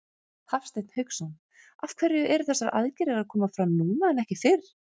Hafsteinn Hauksson: Af hverju eru þessar aðgerðir að koma fram núna en ekki fyrr?